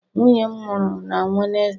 Nwunye m mụrụ na Wednesday.